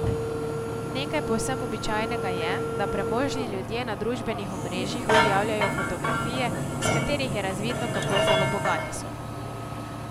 Nekaj povsem običajnega je, da premožni ljudje na družbenih omrežjih objavljajo fotografije, s katerih je razvidno, kako zelo bogati so.